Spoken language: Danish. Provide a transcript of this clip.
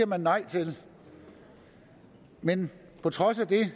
man nej til men på trods af det